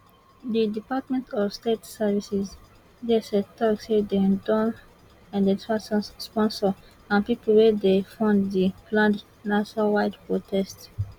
di department of state services dsstok say dem don identify sponsors and pipo wey dey fund di planned nationwide protest